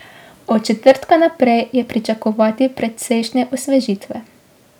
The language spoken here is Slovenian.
Od četrtka naprej je pričakovati precejšnje osvežitve.